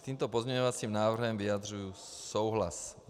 S tímto pozměňovacím návrhem vyjadřuji souhlas.